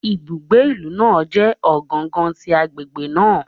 Ibugbe ilu naa jẹ ogangan ti agbegbe naa